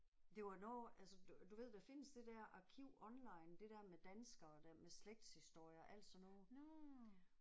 Det var noget altså du du ved der findes det der arkiv online det der med danskere der med slægtshistorier og alt sådan noget